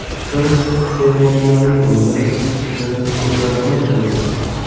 Biz iste’molchilarning o‘zini tutishini o‘zgartirmoqchimiz.